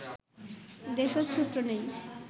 দেশজ সূত্র নেই